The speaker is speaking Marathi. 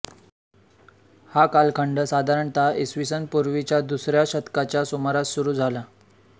हा कालखंड साधारणतः इ स पूर्वीच्या दुसऱ्या शतकाच्या सुमारास सुरू झाला